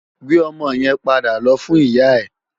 Gbé òmò yèn pàdá lò fún iyá è